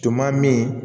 Tun ma min